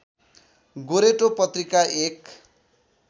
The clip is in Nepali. गोरेटो पत्रिका एक